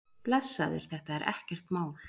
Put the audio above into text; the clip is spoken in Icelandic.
Blessaður, þetta er ekkert mál.